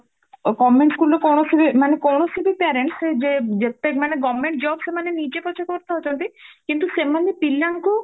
government schoolରୁ କୌଣସି ବି ମାନେ କୌଣସି ବି parents ସେଇ ଯେ ଯେତେ ମାନେ government job ସେମାନେ ନିଜେ ପଛେ କରିଦଉଛନ୍ତି କିନ୍ତୁ ସେମାନେ ପିଲାଙ୍କୁ